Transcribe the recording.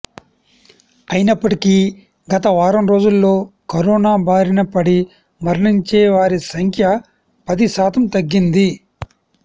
అయినప్పటికి గత వారం రోజుల్లో కరోనా బారిన పడి మరణించే వారి సంఖ్య పది శాతం తగ్గింది